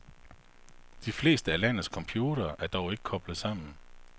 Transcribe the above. De fleste af landets computere er dog ikke koblet sammen.